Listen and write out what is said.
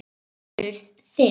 Sonur þinn.